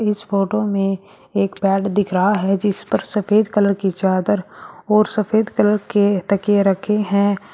इस फोटो में एक बैड दिख रहा है जिस पर सफेद कलर की चादर और सफेद कलर के तकिए रखें है।